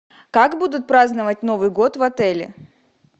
как будут праздновать новый год в отеле